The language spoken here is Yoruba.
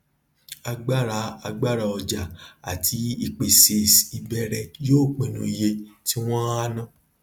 agbára agbára ọjà àti ìpèsèìbéèrè yóò pinnu iye tí wọn á ná